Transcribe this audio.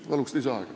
Palun lisaaega!